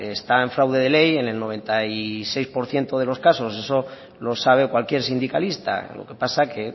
está en fraude de ley en el noventa y seis por ciento de los casos eso lo sabe cualquier sindicalista lo que pasa que